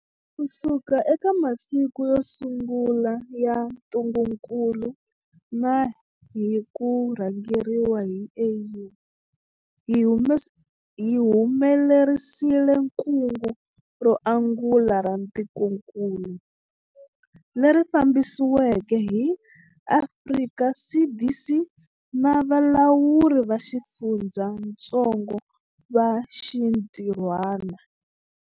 Kusuka eka masiku yo sungula ya ntungukulu na hi ku rhangeriwa hi AU, hi humelerisile kungu ro angula ra tikokulu, leri fambisiweke hi Afrika CDC na valawuri va xifundzatsongo va xinti rhwana.